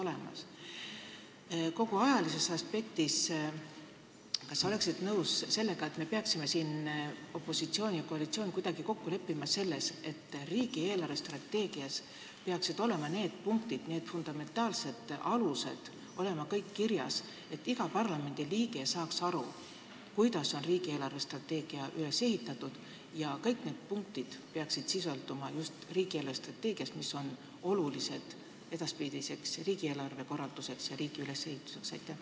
Arvestades ajalist aspekti, kas sa oleksid nõus sellega, et meie, opositsioon ja koalitsioon, peaksime kuidagi kokku leppima selles, et riigi eelarvestrateegias peaksid olema kirjas kõik need punktid, fundamentaalsed alused, et iga parlamendiliige saaks aru, kuidas on riigi eelarvestrateegia üles ehitatud, ja just riigi eelarvestrateegias peaksid sisalduma need punktid, mis on olulised riigieelarve edaspidise korralduse ja riigi ülesehituse jaoks?